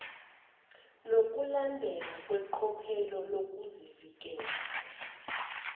nokulandelwa kweqophelo lezokuvikeleka